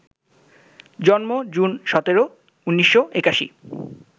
জন্ম জুন ১৭, ১৯৮১